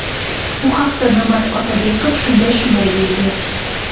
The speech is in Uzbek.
Bu haqda Nurmat Otabekov shunday shunday deydi:.